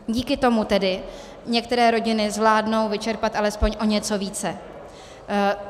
Díky tomu tedy některé rodiny zvládnou vyčerpat alespoň o něco více.